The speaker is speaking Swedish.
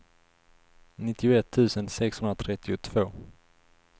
nittioett tusen sexhundratrettiotvå